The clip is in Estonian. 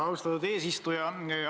Austatud eesistuja!